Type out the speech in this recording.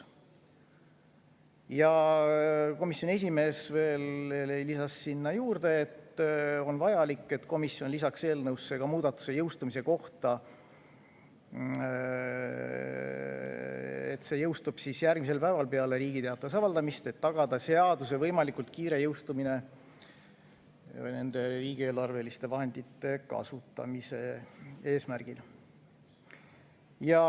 Ja komisjoni esimees veel lisas sinna juurde, et komisjonil on vaja lisada eelnõusse muudatus jõustumise kohta, et see jõustub järgmisel päeval peale Riigi Teatajas avaldamist, tagamaks seaduse võimalikult kiire jõustumine nende riigieelarveliste vahendite kasutamise eesmärgil.